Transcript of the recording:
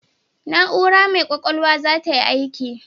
Na'ura mai ƙwaƙwalwar za tayi aiki.